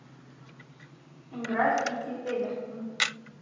игра сити эвертон